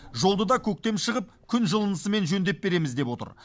жолды да көктем шығып күн жылынысымен жөндеп береміз деп отыр